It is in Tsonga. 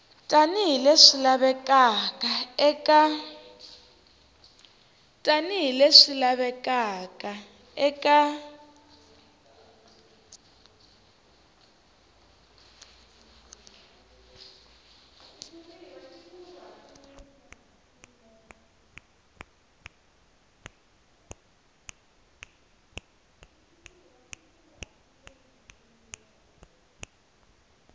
tani hi leswi lavekaka eka